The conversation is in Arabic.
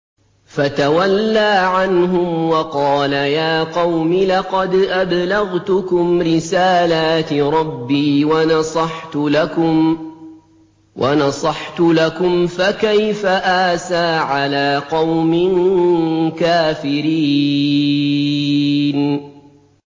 فَتَوَلَّىٰ عَنْهُمْ وَقَالَ يَا قَوْمِ لَقَدْ أَبْلَغْتُكُمْ رِسَالَاتِ رَبِّي وَنَصَحْتُ لَكُمْ ۖ فَكَيْفَ آسَىٰ عَلَىٰ قَوْمٍ كَافِرِينَ